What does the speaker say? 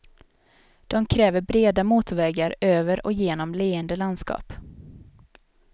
De kräver breda motorvägar över och genom leende landskap.